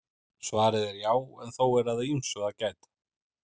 Svarið er já en þó er að ýmsu að gæta.